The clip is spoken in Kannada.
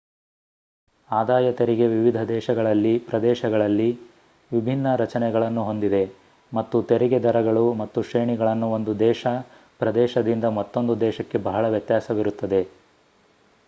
ಆದಾಯ ತೆರಿಗೆ ವಿವಿಧ ದೇಶಗಳಲ್ಲಿ / ಪ್ರದೇಶಗಳಲ್ಲಿ ವಿಭಿನ್ನ ರಚನೆಗಳನ್ನು ಹೊಂದಿದೆ ಮತ್ತು ತೆರಿಗೆ ದರಗಳು ಮತ್ತು ಶ್ರೇಣಿಗಳನ್ನು ಒಂದು ದೇಶ / ಪ್ರದೇಶದಿಂದ ಮತ್ತೊಂದು ದೇಶಕ್ಕೆ ಬಹಳ ವ್ಯತ್ಯಾಸವಿರುತ್ತದೆ